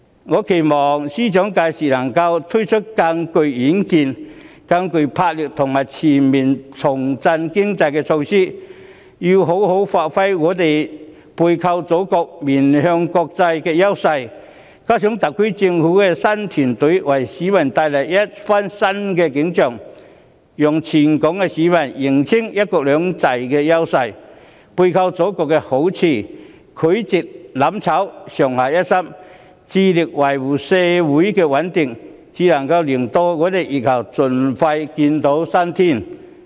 我期望司長屆時能夠推出更具遠見、更具魄力和更具前瞻性的重振經濟措施，要妥善發揮香港背靠祖國、面向國際的優勢；再加上特區政府的新團隊為市民帶來新景象，讓全港市民認清"一國兩制"的優勢，背靠祖國的好處，拒絕"攬炒"，上下一心，致力維護社會的穩定，才能令香港在疫後盡快見新天。